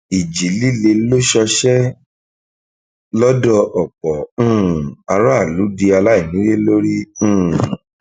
ìjì líle ṣọṣẹ lọdọ ọpọ um aráàlú di aláìnílé lórí um